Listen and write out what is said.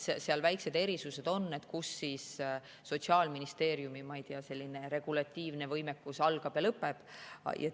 Seal väikesed erisused on, kus Sotsiaalministeeriumi regulatiivne võimekus algab ja lõpeb.